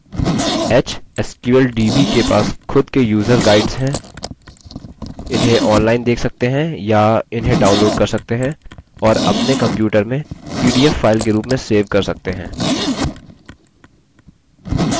hsqldb के पास खुद के यूज़र guides हैं इन्हें online देख सकते हैं या इन्हें downloaded कर सकते हैं और अपने computer में pdf file के रूप में सेव कर सकते हैं